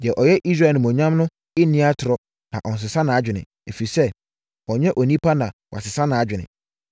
Deɛ ɔyɛ Israel Animuonyam no nni atorɔ na ɔnsesa nʼadwene; ɛfiri sɛ, ɔnnyɛ onipa na wasesa nʼadwene.”